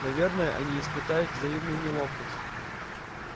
наверное они испытают взаимную неловкость